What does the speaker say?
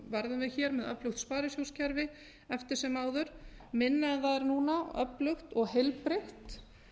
verðum við hér með öflugt sparisjóðakerfi eftir sem áður minna en það er núna öflugt og heilbrigt